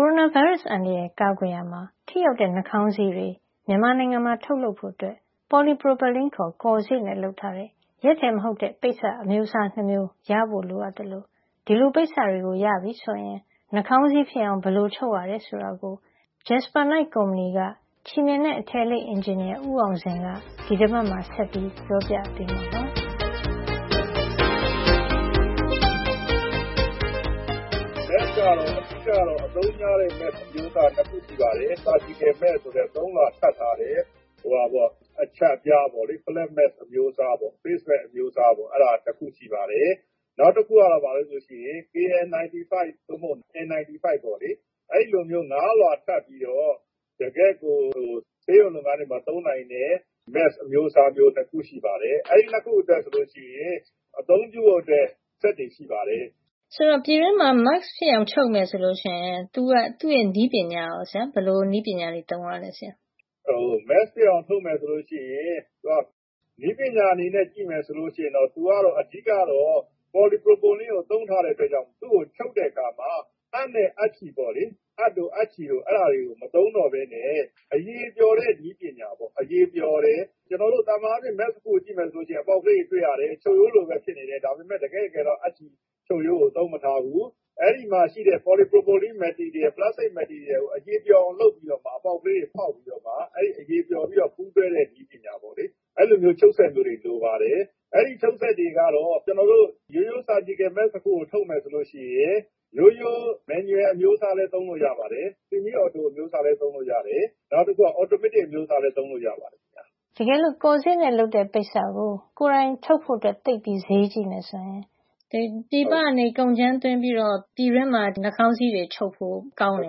ိုရိုနာဗိုင်းရပ်စ်အန္တရာယ်. ကာကွယ်ရာမှာ ထိရောက်တဲ့ နှာခေါင်းစည်းတွေ မြန်မာနိုင်ငံမှာ ထုတ်လုပ်ဖို့Polypropylene ခေါ် ကော်စေ့နဲ့ လုပ်ထားတဲ့ ရက်ထည်မဟုတ်တဲ့ ပိတ်စ အမျိုးအစား ၂ မျိုး ရဖိုလိုအပ် သလို ဒီပိတ်စတွေရပြီဆိုရင် နှာခေါင်းစည်းဖြစ်အောင် ဘယ်လိုချုပ်ရတယ် ဆိုတာကို Jasper Knight ကုမ္ပဏီက ချည်မ ျှင်နဲ့ အထည်အလိပ်အင်ဂျင်နီယာ ဦးအောင်ဇင်က ဒီတပတ်မှာ ဆက်ပြီးပြောပြပေးမှာပါ။ “အသုံးများတဲ့ mask အမျိုးအစားက ၂ ခုရှိပါတယ်။ ခွဲစိတ်ခန်းသုံး surgical mask ဆိုတဲ့ ၃ လွှာထပ်ထားတဲ့ အချပ် အပြားပေါ့လေ၊ flat -mask အမျိုးအစား၊ face mask အမျိုးအစားပေါ့လေ။ နောက်တခုက ဘာလဲ ဆိုတော့ KN95 ဒါမှမဟုတ် N 95 ပေါ့လေ။ အဲဒီလိုမျိုး ၅ လွှာ ထပ်ပြီးတော့ တကယ့်ကို ဆေးရုံလုပ်ငန်းတွေမှာ သုံးနိုင်တဲ့ mask အမျိုးအစား ဆိုပြီး ၂ မျိုး ရှိပါတယ်။ အဲဒီ ၂ မျိုးအတွက် ထုတ်လုပ်ဖို့ စက်တွေ ရှိပါတယ်။ “ဟုတ်ကဲ့ ပြည်တွင်းမှာ mask ချုပ်မယ် ဆိုလို့ရှိရင် သူ့ရဲ့နည်းပညာ ကရော ဆရာ၊ ဘယ်လိုနည်းပညာသုံးရပါလဲ။” “mask ချုပ်မယ် ဆိုလို့ရှိရင် နည်းပညာ အနေနဲ့ ကြည့်မယ်ဆိုရင် သူက အဓိက ကတော့ ပေါ်လီပရိုပလင်း ကို သုံးထားတဲ့အတွက်ကြောင့် သူ့ကိုချုပ်တဲ့ အခါမှာ အပ်နဲ့ အပ်ချည်ပေါ့လေ၊ အဲဒါတွေကို မသုံးတော့ပဲနဲ့ အရည်ပျော်တဲ့ နည်းပညာပေါ့၊ အရည်ပျော်တယ်။ ကျနော်တို့ သာမန်အားဖြင့် mask တခုကို ကြည့်မယ် ဆိုရင် အပေါက်ကလေးတွေ တွေ့ရတယ်။ ချုပ်ရိုးတွေနဲ့ ဖြစ်နေတယ်။ ဒါပေမယ့် တကယ့်တကယ်တော့ အပ်ချည် ချုပ်ရိုးကို သုံးမထားဘူး။ အဲဒီမှာ ရှိတဲ့ ပေါ်လီပရိုပလင်း ပလပ်စတိတ် အမျိုးအစားကို အရည်ပျော်အောင် လုပ်ပြီးတော့မှာ အပေါက်ကလေးတွေ ဖေါက်ပြီး တော့မှ - အဲဒီ အရည်ပျော်ပြီး ပူးတွဲတဲ့ နည်းပညာ ပေါ့လေ။ အဲဒီလိုမျိုး ချုပ်စက်မျိုးတွေ လိုပါတယ်။ အဲဒီချုပ်စက်တွေကတော့ရိုးရိုး ခွဲစိတ်ခန်းသုံး နှာခေါင်းစည်း surgical mask တခုကို ထုတ်မယ်ဆိုရင် ရိုးရိုး manual အမျိုးအစားလည်း သုံးလို့ရပါတယ်။ semi- auto ဆီမီးအော်တို အမျိုးအစားလည်း သုံးလို့ ရပါတယ်။ နောက်တခုက အော်တိုမက်တစ် အမျိုးအစားလည်း သုံးလို့ရပါတယ်ခင်ဗျ။” “ တကယ်လို့ ကော်စေ့နဲ့လုပ်တဲ့ ပိတ်စကို ကိုယ်တိုင်ထုတ်ဖို့ ဈေးသိပ်ကြီးမယ် ဆိုရင်ပြည်ပကနေ ကုန်ကြမ်း သွင်းပြီးတော့ ပြည်တွင်းမှာ နှာခေါင်းစည်းတွေ ချုပ်ဖို့ ကောင်းတယ်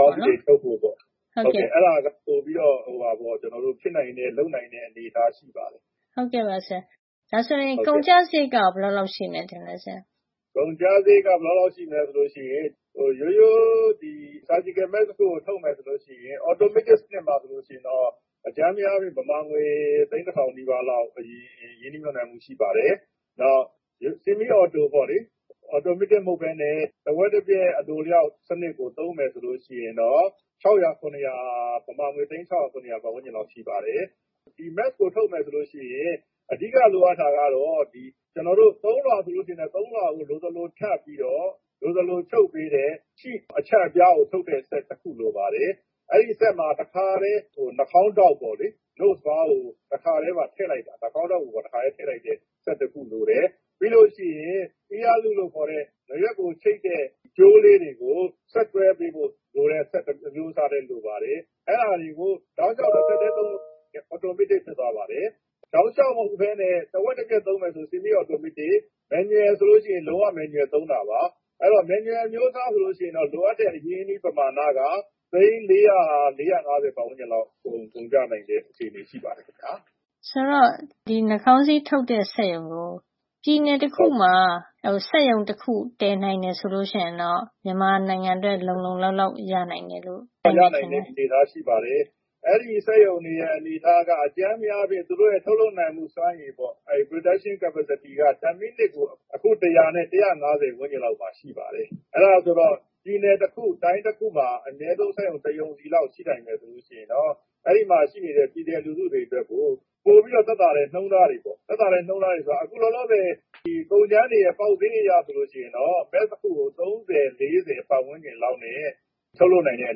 ပေါ့နော်။” “ဟုတ်ကဲ့ အဲဒါက ပိုပြီးတော့ ဖြစ်နိုင်တဲ့၊ လုပ်နိုင်တဲ့ အနေထား ပေါ့နော်။” “ဒါဆိုရင် ကုန်ကျစားရိတ်ကရော ဘယ်လောက်လောက် ရှိမလဲ ဆရာ။” “ကုန်ကျစားရိတ် ဘယ်လောက်လောက် ရှိမလဲ ဆိုရင်၊ ကျနော်တို့ ရိုးရိုး ဆာဂျီကယ် မတ်စ် တခုကို ထုတ်မယ် ဆိုရင် ကုန်ကျစားရိတ်က အော်တိုမက်တစ် စက်ဆိုရင် မြန်မာငွေ အကြမ်းဖျင်း အားဖြင့် ကျပ် သိန်း တထောင် နီးပါးလောက် ရင်းနှီးမြှပ်နှံမှု ရှိပါတယ်။ နောက် ဆီမီး အော်တိုပေါ့လေ။ အော်တိုမက်တစ် မဟုတ်ပဲနဲ့ တဝက်တပျက် အလိုအလျောက် စံနစ်ကို သုံး မယ် ဆိုလို့ရှိရင်တော့ မြန်မာငွေ သိန်း ၆ ရာ - ၇ ရာလောက် ရှိပါတယ်။ ဒီမတ်စ်ကို ထုတ်မယ်ဆိုရင်အဓိက လိုအပ်တာကတော့ တကယ်လို့ ၃ လွှာဆိုရင် ၃ လွှာကို လိုသလို ထပ်ပြီးတော့ လိုသလို ထုတ်ပေးတဲ့ sheetအချပ်ပြားထုတ်တဲ့ စက်တခု လိုပါတယ်။ အဲဒီစက်မှာ တခါထဲ နှာခေါင်းပတ် ပေါ့လေ။ nose bar ကို တခါထဲ ထည့်ပေးတဲ့ နှာခေါင်းပတ် ကိုပါ တခါထဲထည့်ပေးတဲ့ စက်တခု လိုပါတယ်။ ပြီးရင် ear loop လို့ခေါ်တဲ့ နားရွက်ကို ချိတ်တဲ့ ကြိုးလေးတွေကို ဆက်တွဲပေးဖို့စက်အမျိုးအစားလည်း လိုပါတယ်။ အဲဒါတွေကို တောက်လေ ျှာက် တဆက်ထဲ လုပ်ပေးရင် အော်တိုမက်တစ် ဖြစ်သွားပါတယ်။ တောက်လေ ျှာက် မဟုတ်ပဲနဲ့ တဝက်တပျက် လုပ်ပေးမယ် ဆိုရင် ဆီမီးအော်တိုမက်တစ်။ နောက် manual ဆိုလို့ရှိရင် လုံးဝ manual သုံးတာပါ။ Manual အမျိုးအစား ဆိုရင်တော့ လိုအပ်တဲ့ အရင်းအနှီး ပမာဏက သိန်း ၄၀၀ - ၄၅၀ ပတ်ဝန်းကျင်လောက် ကုန်ကျနိုင်တဲ့ အခြေနေ ရှိပါတယ်ခင်ဗျာ။” “ဒီလိုဆိုရင် နှာခေါင်းစည်း ထုတ်တဲ့ စက်ရုံကို ပြည်နယ် တခုမှာ စက်ရုံ တခုလောက် တည် နိုင်တယ် ဆိုရင်တော့ မြန်မာနိုင်ငံ အတွက် လုံလုံလောက်လောက် ရှိမယ်လို့ ထင်ပါသလား။” “ရနိုင်တဲ့ အနေထားရှိပါတယ်။ အဲဒီလိုဆိုရင် အဲဒီ စက်ရုံတွေရဲ့ အနေအထားက သူတို့ရဲ့ ထုတ်လုပ်နိုင်မှု စွမ်းရည်ပေါ့ production capacity အဲဒီစွမ်းရည်က တမိနစ်ကို အခု တရာနဲ့ တရာ့ငါးဆယ် ဝန်းကျင်မှာ ရှိပါတယ်။ အဲဒါဆိုတော့ ပြည်နယ်တခု၊ တိုင်းတခုမှာ အနည်းဆုံး စက်ရုံ တရုံစီလောက် ရှိနိုင်မယ် ဆိုရင်တော့ အဲဒီမှာ ရှိတဲ့ ပြည်နယ်လူထုတွေ အတွက်ကို ပိုပြီးတော့ သက်သာတဲ့ နှုန်းထားတွေပေါ့။ သက်သာတဲ့ နှုန်းထားဆိုတာ အခု လောလောဆယ် ကုန်ကြမ်းတွေရဲ့ ပေါက်ဈေး အရ ဆိုရင်တော့ မတ်စ် တခုကို ၃၀ - ၄၀ ပတ်ဝန်းကျင် လောက်နဲ့ ထုတ်လုပ်နိုင်တဲ့ အ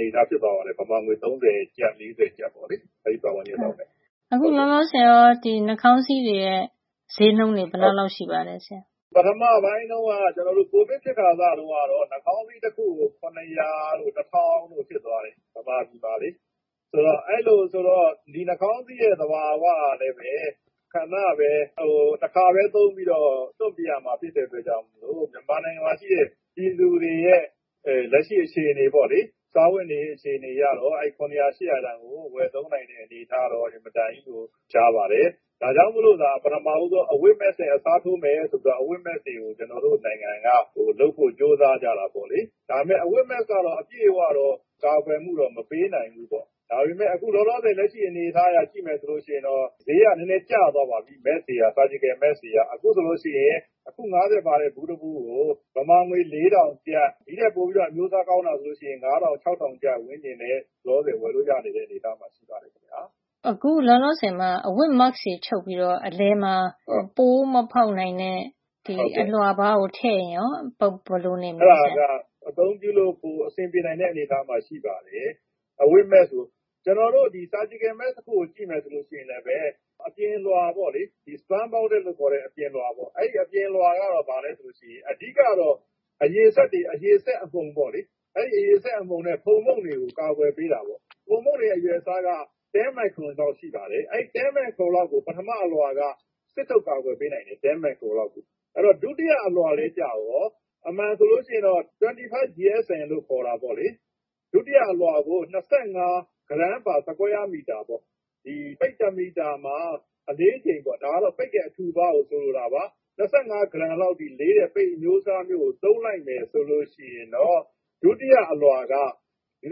နေထားဖြစ်ပါတယ်။ မြန်မာငွေ ၃၀ ကျပ် - ၄၀ ကျပ်ပေါ့လေ။ အဲဒီ ပတ်ဝန်းကျင်လောက်ပါ။” “ဟုတ်ကဲ့ အခုလောလောဆယ်ရော ဒီနှာခေါင်းစည်းတွေရဲ့ ဈေး ဘယ်လောက် ရှိပါလဲ။” “ပထမပိုင်းတုန်းက၊ ကျနော်တို့ ကိုဗစ်ဖြစ်ခါစတုန်းကတော့ နှာခေါင်းစည်း တခုကို ၇၀၀ တို့ တထောင်တို့ဖြစ်သွားတယ်။ မြန်မာပြည်မှာလေ။ နောက် ဒီနှာခေါင်းစည်းရဲ့ သဘာဝ ကလည်းပဲ တခါပဲ သုံးပြီး လွှင့်ပစ်ရမှာ ဖြစ်တဲ့ အတွက်ကြောင့် မို့လို့၊့ မြန်မာနိုင်ငံရဲ့ ပြည်သူတွေရဲ့ လက်ရှိ အခြေနေ ပေါ့လေ။ စားဝတ်နေရေး အခြေနေ အရတော့ အဲဒီ ၇၀၀- ၈၀၀ တန်ကို ဝယ်သုံးနိုင်တဲ့ အနေထားကတော့ အင်မတန် ကြီးကို ရှားပါတယ်။ ဒါကြောင့်မို့သာ ပထမဦးဆုံး အဝတ်မတ်စ်နဲ့ အစားထိုးမယ် ဆိုပြီးတော့ အဝတ်မတ်စ် တွေကို ကျနော်တို့နိုင်ငံက လုပ်ဖို့ ကြိုးစားကြတာ ပေါ့လေ။ ဒါပေမယ့် အဝတ်မတ်စ် ကတော့ အပြည့်အဝတော့ ကာကွယ်မှုတော့ မပေးနိုင်ဘူးပေါ့။ ဒါပေမယ့် အခု လောလောဆယ် လက်ရှိ အနေအထားအရ ကြည့်မယ် ဆိုရင်တော့ ဈေးက နဲနဲ ကျသွားပြီ။ ဒီ ဆာဂျီကယ် မတ်စ် တွေက။ အခုဆိုရင် အခု ၅၀ ပါတဲ့ ဘူးတဘူးကို မြန်မာငွေ ၄ ထောင်ကျပ်။ ဒီ့ထက်ပိုပြီးတော့ အမျိုးအစား ကောင်းမယ် ဆိုရင်တော့ မြန်မာငွေ ၅၀၀၀ - ၆၀၀၀ ကျပ် ဝန်းကျင်နဲ့ လောလောဆယ် ဝယ်လို့ရနေပါတယ်။” “အခုလောလောဆယ်မှာ အဝတ်မတ်စ်တွေ ချုပ်ပြီးတော့ အလယ်မှာ ပိုးမဖေါက်နိုင်တဲ့ အလွှာပါးကို ထည့်ရင်ကော ဘယ်လိုနေမလဲဆရာ။” “အဲဒါက အသုံးပြုလို့ ပိုအဆင်ပြေနိုင်မယ့် အနေထားမှာ ရှိပါတယ်၊ ဒီအဝတ်မတ်စ်ကို။ ကျနော်တို့ ဒီ ဆာဂျီကယ် မတ်စ် တခုကို ကြည့်မယ် ဆိုလို့ရှိရင်လည်း အပြင်လွှာ ပေါ့လေ။ ဒီ spun bonded လို့ခေါ်တဲ့ ပိတ်အမျိုးအစား နဲ့လုပ်ထားတဲ့ အလွှာ။ အဲဒီ အပြင်လွှာက ဘာလည်း ဆိုရင် အဓိကကတော့ အရည်စက်တွေ၊ အရည်စက် အမှုန် ပေါ့လေ။ အရည်စက်အမှုန်နဲ့ ဖုံမှုန့်တွေကို ကာကွယ်ပေးတာပေါ့။ အဲဒီ ဖုံမှုန့်တွေရဲ့ အရွယ်အစားက ၁၀ မိုက်ခရွန် လောက်ရှိပါတယ်။ အဲ ၁၀ မိုက်ခရွန်လောက်ကို ပထမ အလွှာက စစ်ထုတ် ကာကွယ်ပေးနိုင်ပါတယ်။ ဒုတိယအလွှာကျတော့ အမှန်ဆိုရင် ၂၅ GSM လို့ ခေါ်တာ ပေါ့လေ။ ဒုတိယ အလွှာကို ၂၅ gram per square meter ပေါ့။ ဒီ ပိတ် တမီတာမှာ အလေးချိန်အားဖြင့် - ဒါက ပိတ်ရဲ့ အထူအပါးကို ဆိုလိုတာပါ။ - ၂၅ ဂရမ်လောက် အထိ လေးတဲ့ပိတ်အမျိုးအစားမျိုးကို သုံးလိုက်မယ် ဆိုရင်တော့၊ ဒီ ဒုတိယ အလွှာက ဝ.၃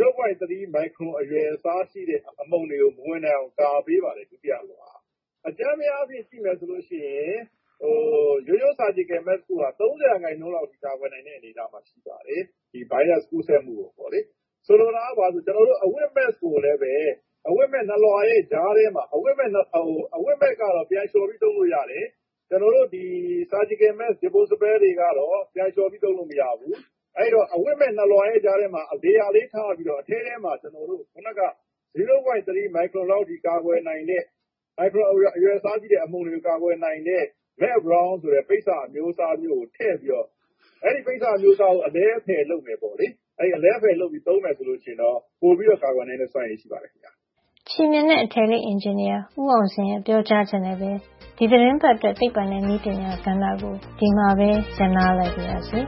မိုက်ခရွန် အရွယ်အစားရှိတဲ့ အမှုန်တွေကို မဝင်နိုင်အောင် ကာကွယ်ပေးတယ် ဒုတိယ အလွှာက။ အကြမ်းဖျင်းအားဖြင့် ကြည့်မယ် ဆိုလို့ရှိရင် ရိုးရိုး ဆာဂျီကယ် မတ်စ် တခုက ၃၀ % အထိ ကာကွယ်နိုင်တဲ့ အနေအထားမှာ ရှိပါတယ်။ ဒီဗိုင်းရပ်စ် ကူးစက်မှုကို ပေါ့လေ။ ဆိုလိုတာက ဘာလဲ ဆိုတော့ ကျနော်တို့ အဝတ်မတ်စ်ကိုလည်းပဲ အဝတ်မတ်စ် ၂ လွှာရဲ့ ကြားထဲမှာ - ဒီအဝတ်မတ်စ်ကတော့ ပြန်လေ ျှာ်ပြီး သုံးလို့ရတယ်။ ကျနော်တို့ ဒီ ဆာဂျီကယ်မတ်စ် disposable တခါသုံး တွေကတော့ ပြန်လေ ျှာ်ပြီး သုံးလို့ မရဘူး။ အဲဒီတော့ ဒီ အဝတ်မတ်စ် ၂ လွှာရဲ့ ကြားထဲမှာ layer နေရာလေး ထားပြီးတော့ အထဲထဲမှာ ကျနော်တို့ ခုနက ဝ.၃ မိုက်ခရွန်လောက် အထိ အရွယ်အစားရှိတဲ့ အမှုန်တွေကို ကာကွယ်နိုင်တဲ့ melt blown ဆိုတဲ့ ပိတ်စ အမျိုးအစားမျိုးကို ထည့်ပြီးတော့။ အဲဒီ ပိတ်စ အမျိုးအစားမျိုးကို အလဲအဖယ် လုပ်မယ် ပေါ့လေ။ အဲလို အလဲအဖယ် လုပ်ပြီး သုံးမယ် ဆိုရင်တော့ ပိုပြီးတော့ ကာကွယ်နိုင်တဲ့ စွမ်းရည် ရှိပါတယ် ခင်ဗျ။” ချည်မ ျှင်နဲ့ အထည်အလိပ် အင်ဂျင်နီယာ ဦးအောင်ဇင် ရဲ့ ပြောကြားချက်နဲ့ပဲ ဒီသီတင်းပတ်အတွက် သိပ္ပံနဲ့ နည်းပညာကဏ္ဍ ကို ဒီမှာပဲ ရပ်နားလိုက်ပါရစေ